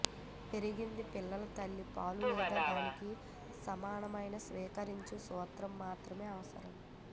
పెరిగింది పిల్లల తల్లి పాలు లేదా దానికి సమానమైన స్వీకరించారు సూత్రం మాత్రమే అవసరం